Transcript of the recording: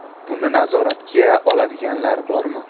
Buni nazoratga oladiganlar bormi?